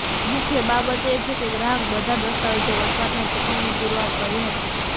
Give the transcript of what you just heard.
મુખ્ય બાબત એ છે કે ગ્રાહક બધા દસ્તાવેજો વસવાટના ચુકવણી પુરવાર કરી હતી